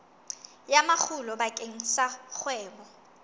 ya makgulo bakeng sa kgwebo